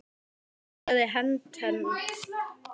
Hann burstaði hönd hennar af sér.